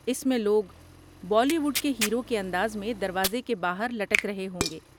اس میں لوگ Bollywood کے ہیرو کے انداز میں دروازے کے باہر لٹک رہے ہوں گے۔